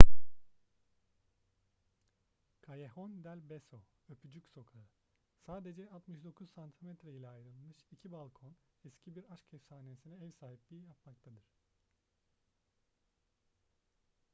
callejon del beso öpücük sokağı. sadece 69 santimetre ile ayrılmış iki balkon eski bir aşk efsanesine ev sahipliği yapmaktadır